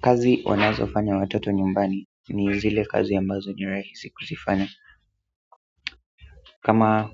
Kazi wanazofanya watoto nyumbani ni zile kazi ambazo ni rahisi kuzifanya kama